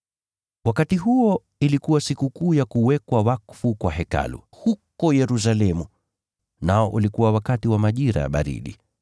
Wakati huo ilikuwa Sikukuu ya Kuwekwa wakfu kwa Hekalu huko Yerusalemu, nao ulikuwa wakati wa majira ya baridi.